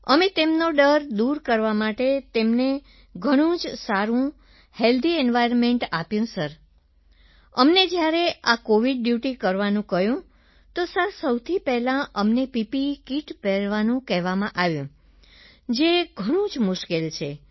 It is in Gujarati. અમે તેમનો ડર દૂર કરવા માટે તેમને ઘણું જ સારું હેલ્થી એન્વાયર્નમેન્ટ આપ્યું સર અમને જ્યારે આ કોવિડ ડ્યૂટી કરવાનું કહ્યું તો સર સૌથી પહેલાં અમને પીપીઇ કિટ પહેરવાનું કહેવામાં આવ્યું સર જે ઘણું જ મુશ્કેલ છે